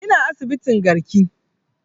Ina asibitin garki